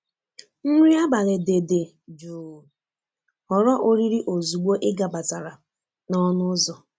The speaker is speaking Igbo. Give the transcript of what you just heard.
Nri abalị dị dị jụụ ghọrọ oriri ozugbo ị gabatara n'ọnụ ụzọ.